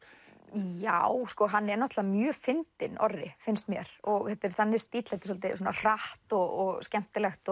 já hann er náttúrulega mjög fyndinn Orri finnst mér þetta er þannig stíll svolítið hratt og skemmtilegt